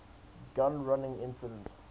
gun running incident